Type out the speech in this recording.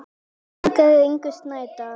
Þýðandi er Ingunn Snædal.